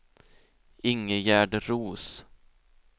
Ingegärd Roos